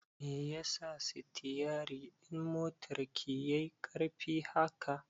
Me yasa sitiyari ɗin motar ki yai ƙarfi haka?